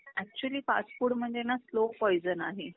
Actually fast food म्हणजे ना slow poison आहे.